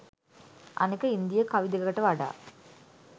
අනෙක ඉන්දීය කවි දෙකට වඩා